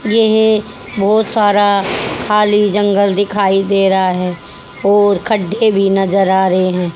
यह बहोत सारा खाली जंगल दिखाई दे रहा है और खड्डे नज़र आ रहे हैं।